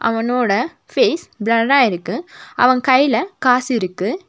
அவனோட ஃபேஸ் பிளர்ரா இருக்கு அவன் கைல காசு இருக்கு.